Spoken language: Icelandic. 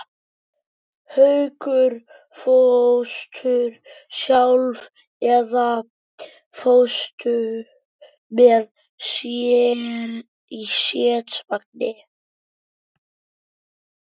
Haukur: Fórstu hingað sjálf eða fórstu með strætisvagni?